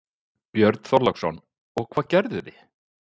Björn Þorláksson: Og hvað gerðu þið?